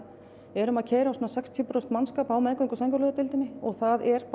erum að keyra á sextíu prósent mannskap á meðgöngu og sængurlegudeildinni og það er